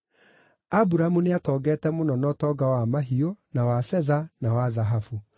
Aburamu nĩatongete mũno na ũtonga wa mahiũ, na wa betha, na wa thahabu.